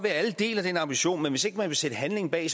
at alle deler den ambition men hvis man ikke vil sætte handling bag